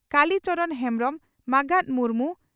ᱠᱟᱞᱤ ᱪᱚᱨᱚᱱ ᱦᱮᱢᱵᱽᱨᱚᱢ ᱢᱟᱸᱜᱟᱛ ᱢᱩᱨᱢᱩ